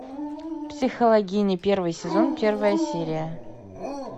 психологини первый сезон первая серия